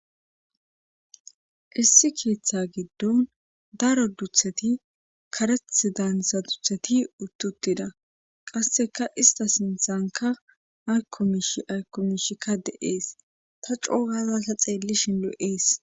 Issi keeththa giddon daro dutheti kareth daansa dutheti uttutida qasseka ista sinthanka aykomish aykkomishikka de7ees ta coogalasa xeellishin lu7ees